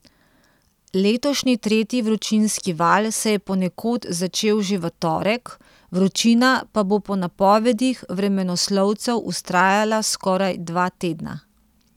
Letošnji tretji vročinski val se je ponekod začel že v torek, vročina pa bo po napovedih vremenoslovcev vztrajala skoraj dva tedna.